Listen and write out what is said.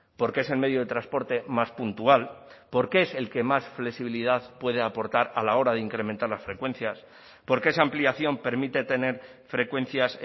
porque es el medio de transporte más puntual porque es el que más flexibilidad puede aportar a la hora de incrementar las frecuencias porque esa ampliación permite tener frecuencias